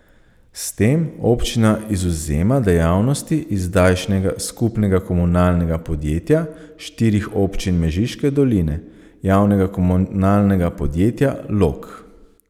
S tem občina izvzema dejavnosti iz zdajšnjega skupnega komunalnega podjetja štirih občin Mežiške doline, Javnega komunalnega podjetja Log.